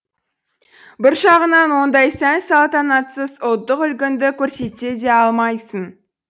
бір жағынан ондай сән салтанатсыз ұлттық үлгіңді көрсете де алмайсың